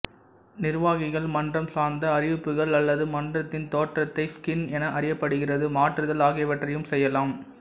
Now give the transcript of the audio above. நிர்வாகிகள் மன்றம் சார்ந்த அறிவிப்புகள் அல்லது மன்றத்தின் தோற்றத்தை ஸ்கின் என அறியப்படுகிறது மாற்றுதல் ஆகியவற்றையும் செய்யலாம்